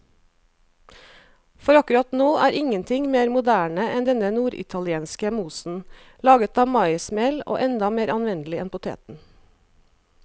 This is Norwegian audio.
For akkurat nå er ingenting mer moderne enn denne norditalienske mosen, laget av maismel og enda mer anvendelig enn poteten.